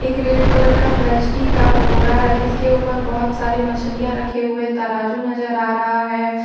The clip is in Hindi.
एक रेड कलर का प्लास्टिक है और बोरा है जिसके ऊपर बहुत सारे मछलियां रखे हुए तराजू नजर आ रहा है।